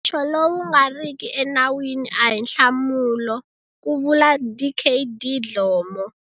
Nxixo lowu nga riki enawini a hi nhlamulo, ku vula Dkd Dhlomo.